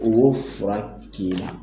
O fura k'i la